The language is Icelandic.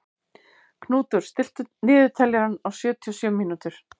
Knútur, stilltu niðurteljara á sjötíu og sjö mínútur.